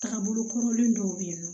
Taga bolo kɔrɔlen dɔw bɛ yen nɔ